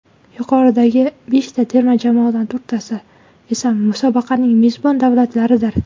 Yuqoridagi beshta terma jamoadan to‘rttasi esa musobaqaning mezbon davlatlaridir.